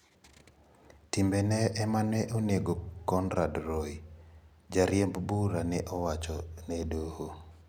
Timbene ema ne onego Conrad Roy," jariemb bura ne owacho ne doho."